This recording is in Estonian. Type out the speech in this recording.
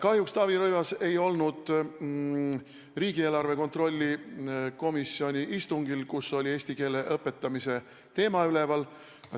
Kahjuks ei olnud Taavi Rõivas riigieelarve kontrolli komisjoni istungil, kus oli üleval eesti keele õpetamise teema.